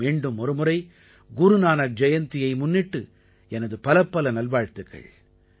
மீண்டும் ஒருமுறை குருநானக் ஜெயந்தியை முன்னிட்டு எனது பலப்பல நல்வாழ்த்துக்கள்